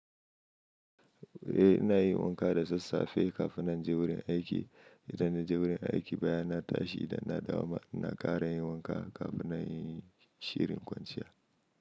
Ina yi wanka da sassafe kafin na je wurin aiki. Idan na je wurin aiki baya na tashi, idan na dawo ma ina ƙara yin wanka kafin na yi shirin kwanciya.